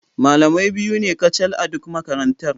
Malamai biyu ne kacal a duk makarantar.